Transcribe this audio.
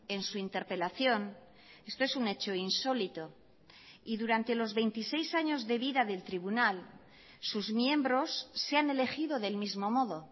en su interpelación esto es un hecho insólito y durante los veintiséis años de vida del tribunal sus miembros se han elegido del mismo modo